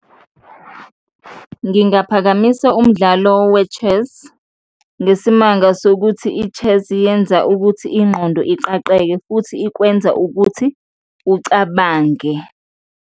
Ngingaphakamisa umdlalo we-chess ngesimanga sokuthi i-chess yenza ukuthi ingqondo iqaqeke futhi ikwenza ukuthi ucabange.